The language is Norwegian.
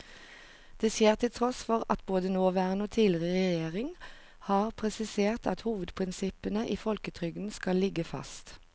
Det skjer til tross for at både nåværende og tidligere regjeringer har presisert at hovedprinsippene i folketrygden skal ligge fast.